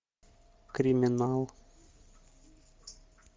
криминал